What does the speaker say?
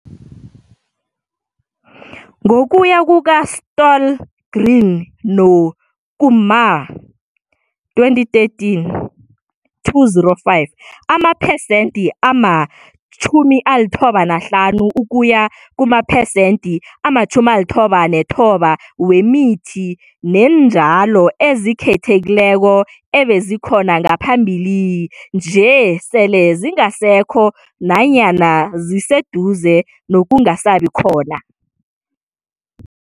Ngokuya kuka-Stohlgren no-Kumar, 2013, 205, amaphesenthi ama-95 ukuya kumaphesenthi ama-99 wemithi neentjalo ezikhethekileko ebezikhona ngaphambili nje sele zingasekho nayana ziseduze nokungasabi khona.